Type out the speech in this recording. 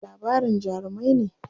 Wasu tatsuniyar labarin jarumai ne.